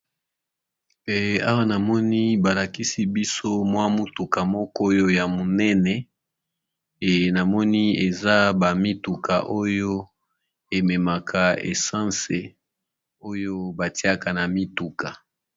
Awa namoni balakisi biso motuka moko ya munene, ezali bongo mituka oyo ememaka mafuta ya mituka